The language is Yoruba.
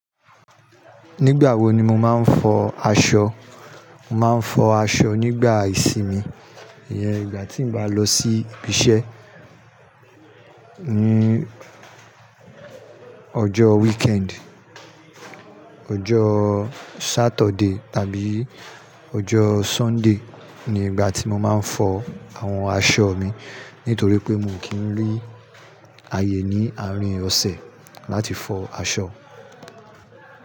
Nígbà wo ni mo máa ń fọ aṣọ? Mo máa ń fọ aṣọ nígbà ìsinmi. Íyen, ìgbà tí n bá lọ sí ibi iṣẹ́ ní ọjọ́ weekend, ọjọ́ Saturday tàbí ọjọ́ Sunday ni ìgbà tí mo máa ń fọ àwọn aṣọ mi. Nítorí pé mo kì ń rí ayé ní àárín ọ̀sẹ̀ láti fọ aṣọ.